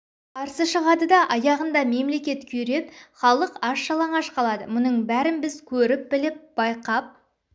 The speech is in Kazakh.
қарсы шығады да аяғында мемлекет күйреп халық аш-жалаңаш қалады мұның бәрін біз көріп біліп байқап